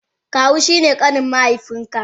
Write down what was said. Kawu shine kanin mahaifiyanka.